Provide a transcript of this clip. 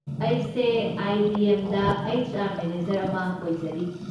ꯑꯩꯁꯦ ꯑꯥꯏ.ꯕꯤ.ꯑꯦꯝ.ꯗ HR. Manager ꯑꯃ ꯑꯣꯏꯖꯔꯤ꯫